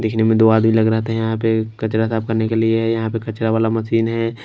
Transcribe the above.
दिखने मे दो आदमी लग रहा था यहां पे कचरा साफ करने के लिए यहां पे कचरा वाला मशीन है।